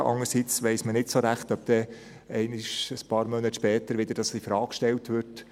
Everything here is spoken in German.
Andererseits weiss man nicht so recht, ob das nicht einmal, ein paar Monate später, wieder in Frage gestellt wird.